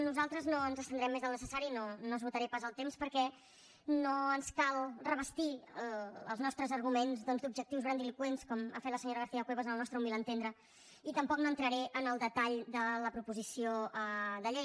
nosaltres no ens estendrem més del necessari no esgotaré pas el temps perquè no ens cal revestir els nostres arguments doncs d’objectius grandiloqüents com ha fet la senyora garcia cuevas al nostre humil entendre i tampoc no entraré en el detall de la proposició de llei